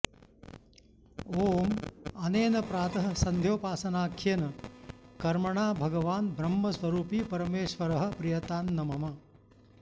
ॐ अनेन प्रातः सन्ध्योपासनाख्येन कर्मणा भगवान् ब्रह्मस्वरूपी परमेश्वरः प्रीयतां न मम